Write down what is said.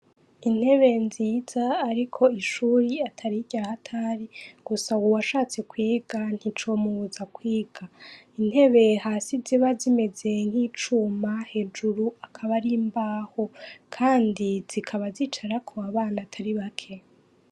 Intebe nziza ariko ishure atari irya hatari, gusa uwashatse kwiga nticomubuza kwiga. Intebe hasi ziba zimeze nk'icuma, hejuru akaba ari imbaho kandi zikaba zicarako abana atari bake.